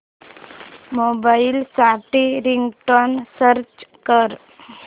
mobile साठी ringtone search कर